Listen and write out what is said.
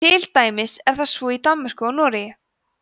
til dæmis er það svo í danmörku og noregi